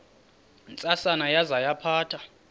ntsasana yaza yaphatha